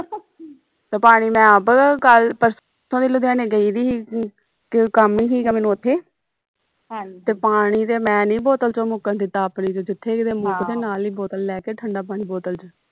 ਤੇ ਪਾਣੀ ਮੈਂ ਆਪ ਕੱਲ ਪਰਸੋ ਦੀ ਲੁਧਿਆਣੇ ਗਈ ਦੀ ਹੀ ਕੰਮ ਹੀਗਾ ਮੈਨੂੰ ਉਥੇ ਤੇ ਪਾਣੀ ਤੇ ਮੈਂ ਨੀ ਬੋਤਲ ਵਿਚੋਂ ਮੁੱਕਣ ਦਿਤਾ ਆਪਣੀ ਵਿਚ ਜਿਥੇ ਕਿਤੇ ਮੁੱਕਜੇ ਨਾਲ ਹੀ ਬੋਤਲ ਲੈ ਕੇ ਠੰਡਾ ਪਾਣੀ ਬੋਤਲ ਵਿਚ